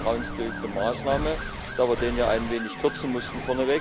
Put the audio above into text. Das ist eine vertrauensbildende Maßnahme, da wir den ja vorneweg ein wenig kürzen mussten.